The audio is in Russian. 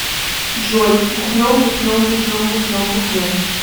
джой бухнем бухнем бухнем бухнем бухнем